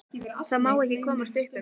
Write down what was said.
Það má ekki komast upp um mig.